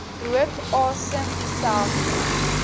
rook asem dieselfde